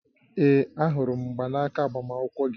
Ee, ahụrụ m mgbanaka agbamakwụkwọ gị